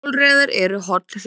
Hjólreiðar eru holl hreyfing